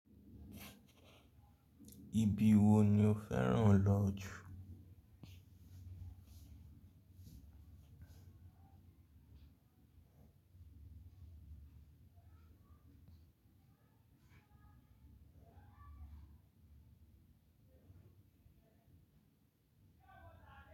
Ibi wo ni o fẹ́ràn lọ jù?